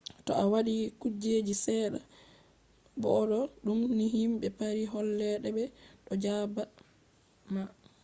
to a waɗi kuje seɗɗa bo0d0dum ni himɓe paris holle te ɓe ɗo jaɓɓa ma